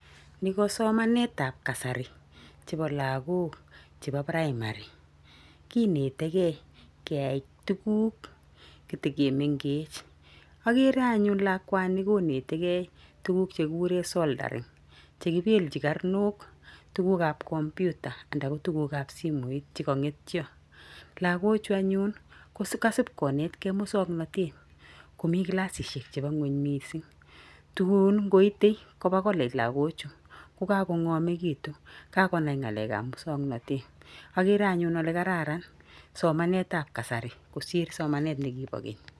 Niko somanetab kasari chepo lagok chepo piraimari. Kinetegei keyai tuguk kitegimengech. Agere anyun lakwani konetegi tuguk chekiguren "[soldering]" che kipelchin karnok tugukab "[computer]" andako tugukab simoit che kangetio. Lagochu anyun ko kasip konetkei mosongnatet komi kilasisiek chebo ngweny mising. Tunkoite koba "[college]" lagochu ko kagongamegitu. Kagonai ngalek ab musongnatet. Agere anyun ale kararan somaetab kasari kosir somanet nigibo keny.